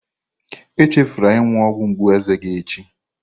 Echefula ịṅụ ọgwụ mgbu eze gị echi